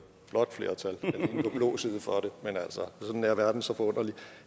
blåt flertal for den men sådan er verden så forunderlig